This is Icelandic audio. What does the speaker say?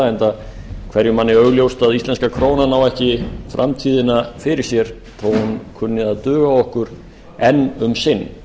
enda hverjum manni augljóst að íslenska krónan á ekki framtíðina fyrir sér þó hún kunni að duga okkur enn um sinn